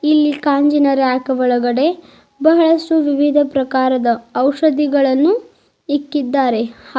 ಇಲ್ಲಿ ಕಾಂಜಿನ ರ್ಯಾಕ್ ಒಳಗಡೆ ಬಹಳಸು ವಿವಿಧ ಪ್ರಕಾರದ ಔಷಧಿಗಳನ್ನು ಇಕ್ಕಿದ್ದಾರೆ ಹಾಗು --